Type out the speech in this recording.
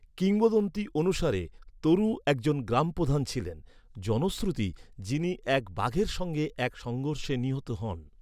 কিংবদন্তি অনুসারে তরু একজন গ্রামপ্রধান ছিলেন, জনশ্রুতি, যিনি এক বাঘের সঙ্গে এক সংঘর্ষে নিহত হন।